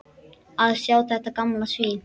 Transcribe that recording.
Að sjá þetta gamla svín.